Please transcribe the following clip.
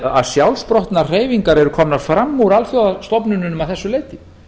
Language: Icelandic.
að sjálfsprottnar hreyfingar eru komnar fram úr alþjóðastofnunum að þessu leyti